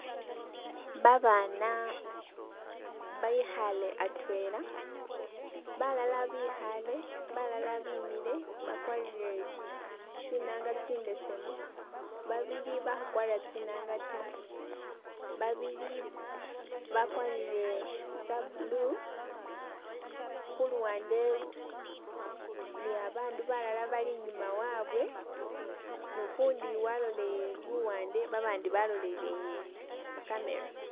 Babaana bekhale atwela, balala bikhale, balala bimile bakwarire tsinanga tsibesemu, babili bakhukwara tsinanga ta, babili bakwarire tsa blue, khuluwande ni babandu balala bali i'nyuma wabwe nukundi waloleyele luwande babandi baloleyele mucamera